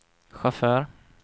chaufför